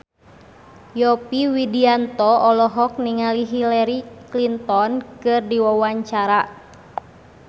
Yovie Widianto olohok ningali Hillary Clinton keur diwawancara